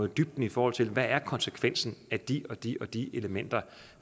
dybden i forhold til hvad konsekvensen af de og de og de elementer